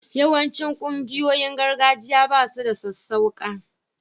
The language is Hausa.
Yawancin ƙungiyoyin gargajiya ba su da sassauƙa